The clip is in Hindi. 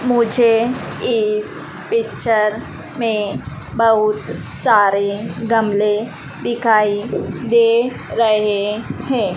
मुझे इस पिक्चर में बहोत सारे गमले दिखाई दे रहे हैं।